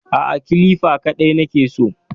Aa, kilifa kaɗai nake so